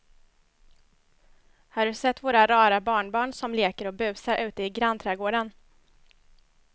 Har du sett våra rara barnbarn som leker och busar ute i grannträdgården!